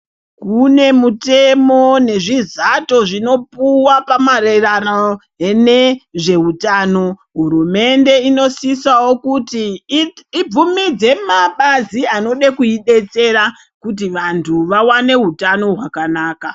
Kune mutemo nezvizato zvinopuwa pamaererano nezveutano. Hurumende inosisawo kuti ibvumidze mabazi anode kuidetsera kuti vandhu vawane utano hwakanaka.